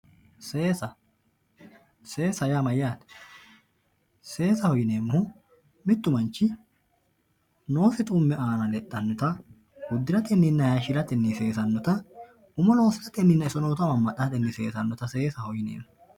Seesa seesaho yaa mayate seesaho yineemohu mitu manchi umosi biifateni udanosi hayishirateni dananchosi seesateni seesa seesaho yineemo